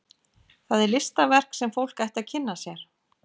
Það er listaverk sem fólk ætti að kynna sér.